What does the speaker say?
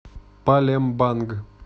палембанг